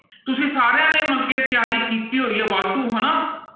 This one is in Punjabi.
ਤੁਸੀਂ ਸਾਰਿਆਂ ਨੇ ਮਤਲਬ ਕਿ ਤਿਆਰੀ ਕੀਤੀ ਹੋਈ ਹੈ ਵਾਧੂ ਹਨਾ।